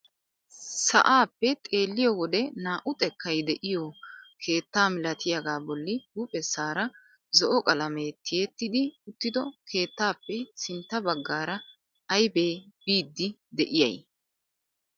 Sa'aappe xeelliyoo wode naa"u xekkay de'iyoo keetta milatiyaagaa bolli huuphphessaara zo'o qalamee tiyettidi uttido keettaappe sintta baggaara aybee biidi de'iyay?